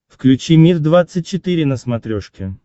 включи мир двадцать четыре на смотрешке